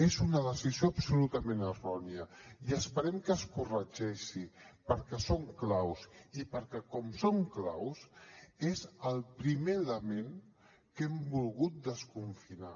és una decisió absolutament errònia i esperem que es corregeixi perquè són claus i perquè com són claus és el primer element que hem volgut desconfinar